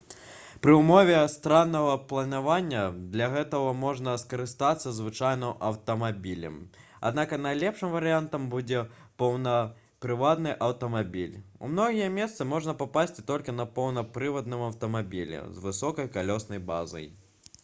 пры ўмове стараннага планавання для гэтага можна скарыстацца звычайным аўтамабілем аднак найлепшым варыянтам будзе поўнапрывадны аўтамабіль у многія месцы можна папасці толькі на поўнапрывадным аўтамабілі з высокай калёснай базай